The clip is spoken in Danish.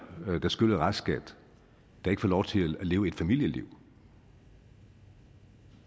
der skylder restskat der ikke får lov til at leve et familieliv